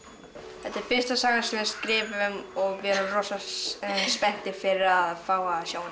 þetta er fyrsta sagan sem við skrifum og við erum rosa spenntir fyrir að fá að sjá hana